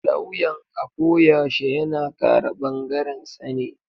Lawyan ako yashe yana kare ɓangarensa ne.